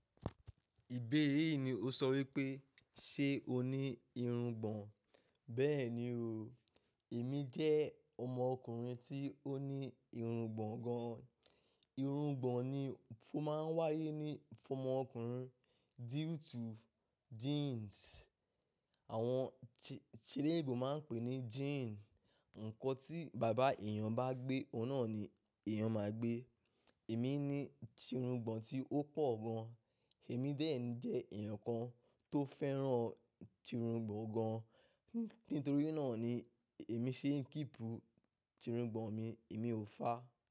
Ìbéèrè yìí ni o sọ wípé, ṣe o ní irungbọ̀n? Bẹ́ẹ̀ni o, èmi jẹ́ ọmọ ọkùnrin tí ó ní irungbọ̀n gan an. Irungbọ̀n ni ó máa ń wáyé ní fún ọmọ ọkùnrin due to genes. Àwọn ti eleyinbo máa ń pè ní gene. Ǹkan tí bàbá èèyàn bá gbé, oun nan ni èèyàn máa gbé. Èmi ní tirungbọ̀n tí ó pọ̀ gan. Èmi dẹ́ jẹ́ eyàn kan tó fẹ́ràn tirungbọ̀n gan. Nítorí náà ni èmi ṣe ń kipu tirungbọ̀n mi, èmi ò fá.